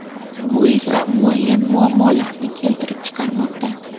Bu esa muayyan muammolarni keltirib chiqarmoqda.